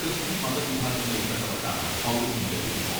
Christian മതവിഭാഗങ്ങളിൽപ്പെട്ടവർക്കാണ് പൗരത്വം ലഭിക്കുക.